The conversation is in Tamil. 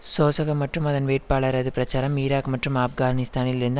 சோசக மற்றும் அதன் வேட்பாளரது பிரச்சாரம் ஈராக் மற்றும் ஆப்கானிஸ்தானில் இருந்து